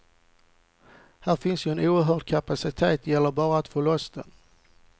Här finns ju en oerhörd kapacitet, det gäller bara att få loss den.